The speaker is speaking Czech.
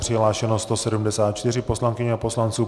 Přihlášeno 174 poslankyň a poslanců.